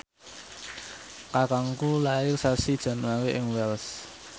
kakangku lair sasi Januari ing Wells